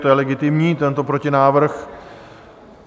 To je legitimní tento protinávrh.